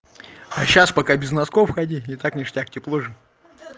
а сейчас пока без носков ходить и так ништяк тепло же